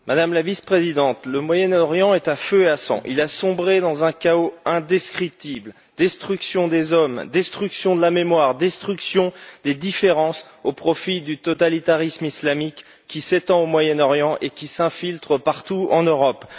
Monsieur le Président, Madame la vice présidente, le Moyen Orient est à feu et à sang. Il a sombré dans un chaos indescriptible destruction des hommes, destruction de la mémoire, destruction des différences au profit du totalitarisme islamique qui s'étend au Moyen Orient et qui s'infiltre partout en Europe.